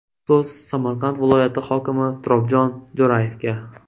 So‘z Samarqand viloyati hokimi Turobjon Jo‘rayevga.